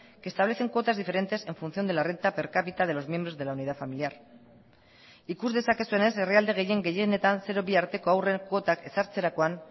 que establecen cuotas diferentes en función de la renta per cápita de los miembros de la unidad familiar ikus dezakezuenez herrialde gehien gehienetan zero bi arteko haurren kuotak ezartzerakoan